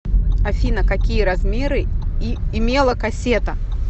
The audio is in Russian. афина какие размеры имела кассета